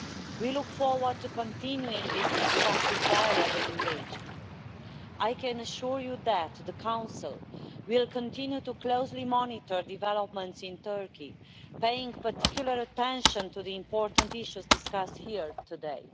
We look forward to continuing this constructive dialogue and engagement. I can assure you that the Council will continue closely to monitor developments in Turkey, paying particular attention to the important issues discussed here today.